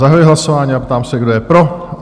Zahajuji hlasování a ptám se, kdo je pro?